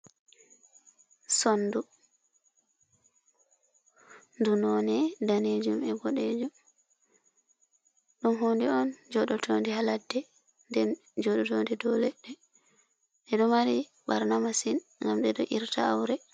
Sondu ndu none danejum e boɗejum, ɗum hunde on joɗotonde haladde, nden joɗotonde dou leɗɗe e do mari barnamasin ngam ɗeɗo irta aure.